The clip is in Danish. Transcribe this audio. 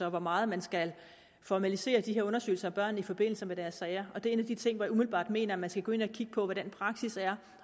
og hvor meget man skal formalisere undersøgelser af børn i forbindelse med deres sager det er en af de ting hvor jeg umiddelbart mener man skal gå ind og kigge på hvordan praksis er